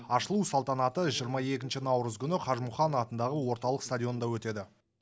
ашылу салтанаты жиырма екінші наурыз күні қажымұқан атындағы орталық стадионда өтеді